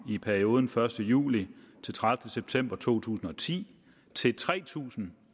i perioden første juli til tredivete september to tusind og ti til tre tusind